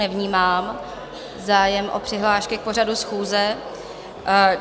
Nevnímám zájem o přihlášky k pořadu schůze.